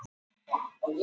Merkúr